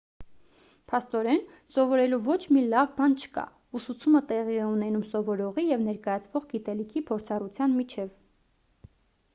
փաստորեն սովորելու ոչ մի լավ բան չկա ուսուցումը տեղի է ունենում սովորողի և ներկայացվող գիտելիքի փորձառության միջև